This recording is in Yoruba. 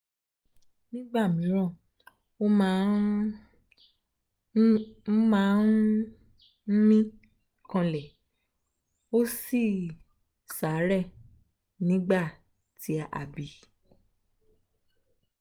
nígbà míràn ó máa um ń máa um ń mí um kanlẹ̀ ó sì ṣàárẹ̀ nígbà tí a bí i